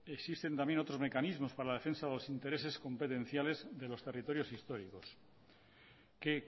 existen también otros mecanismos para la defensa o los intereses competenciales de los territorios históricos que